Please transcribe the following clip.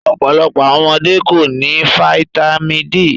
Ọpọlọpọ awọn ọmọde ko ni fáítámínì D